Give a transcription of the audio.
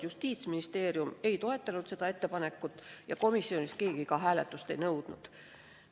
Justiitsministeerium seda ettepanekut ei toetanud ja komisjonis keegi hääletust ei nõudnud.